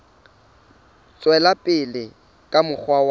tswela pele ka mokgwa wa